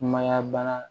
Mayan bana